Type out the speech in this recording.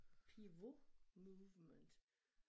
Pivot movement